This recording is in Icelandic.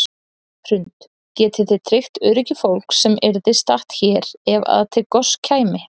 Hrund: Getið þið tryggt öryggi fólks sem yrði statt hér ef að til goss kæmi?